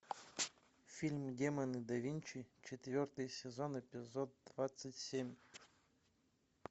фильм демоны да винчи четвертый сезон эпизод двадцать семь